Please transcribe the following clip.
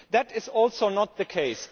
That is also not the case.